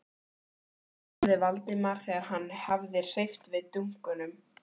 spurði Valdimar þegar hann hafði hreyft við dunkunum.